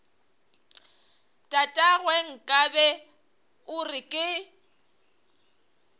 tatagwe nkabe o re ke